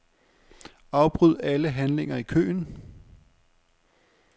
Afbryd alle handlinger i køen.